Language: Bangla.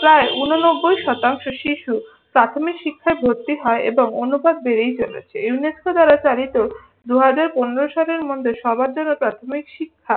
প্রায় ঊননব্বই শতাংশ শিশু প্রাথমিক শিক্ষায় ভর্তি হয় এবং অনুপাত বেড়েই চলেছে। ইউনেস্কো দ্বারা চালিত দুহাজার পনেরো সালের মধ্যে সবার জন্য প্রাথমিক শিক্ষা